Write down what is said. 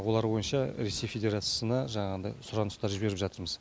олар бойынша ресей федерациясына жаңағыдай сұраныстар жіберіп жатырмыз